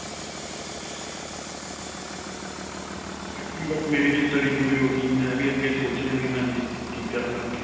ਕੁੱਝ ਨਹੀ ਬੱਸ ਮੇਰੀ ਵੀ study ਪੂਰੀ ਹੋ ਗਈ. ਮੈਂ ਵੀ ਅੱਗੇ ਸੋਚ ਰਿਹਾ ਵੀ ਹਾਂਜੀ ਕੀ ਕਰਨਾ ਅੱਗੇ.